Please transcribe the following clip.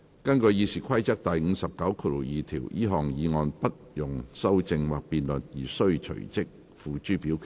根據《議事規則》第592條，這項議案不容修正或辯論而須隨即付諸表決。